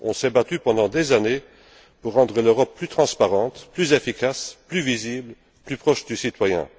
On s'est battu pendant des années pour rendre l'Europe plus transparente, plus efficace, plus visible, plus proche du citoyen.